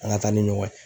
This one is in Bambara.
An ka taa ni ɲɔgɔn ye